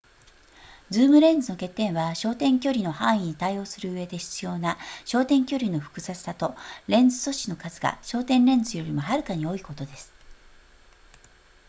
ズームレンズの欠点は焦点距離の範囲に対応するうえで必要な焦点距離の複雑さとレンズ素子の数が焦点レンズよりもはるかに多いことです